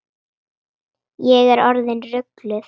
Ég er ekki orðin rugluð.